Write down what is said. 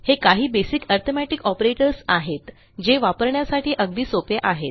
हे काही basic arithmetic operators आहेत जे वापरण्यासाठी अगदी सोपे आहेत